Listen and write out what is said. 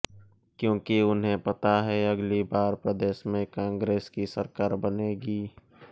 क्योंकि उन्हें पता है अगली बार प्रदेश में कांग्रेस की सरकार बनेगी